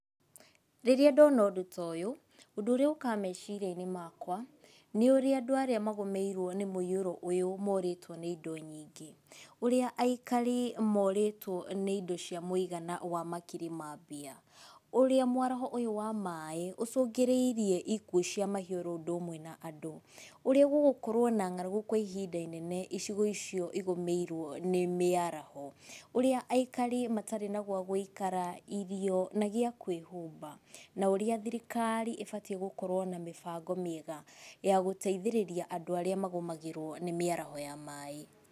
Rĩrĩa ndona ũndũ toyũ, ũndũ ũrĩa ũkaga meciria-inĩ makwa, nĩ ũrĩa andũ arĩa magũmĩirwo nĩ mũiyũro ũyũ morĩtwo nĩ indo nyingĩ, ũrĩa aikari morĩtwo nĩ indo cia mũigana wa makiri ma mbia. Ũrĩa mwaraho ũyũ wa maaĩ ũcũngĩrĩirie ikuũ cia mahĩũ oro ũndũ ũmwe na andũ. Ũrĩa gũgũkorwo na ng'aragu kwa ihinda inene icigo icio igũmĩirwo nĩ mĩaraho. Ũrĩa aikari matarĩ na gwagũikara, irio na gĩa kwĩhumba, na ũrĩa thirikari ĩbatiĩ gũkorwo na mĩbango mĩega ya gũteithĩrĩria andũ arĩa magũmagĩrwo nĩ mĩaraho ya maaĩ.